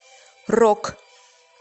рок